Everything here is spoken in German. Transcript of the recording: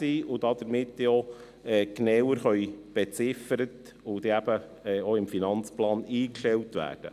Damit können sie näher beziffert und eben auch im Finanzplan eingestellt werden.